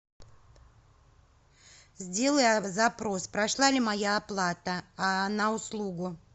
сделай запрос прошла ли моя оплата на услугу